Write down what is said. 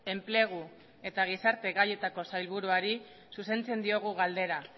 enplegu eta gizarte gaietako sailburuari zuzentzen diogu galdera